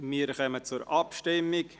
Wir kommen zur Abstimmung.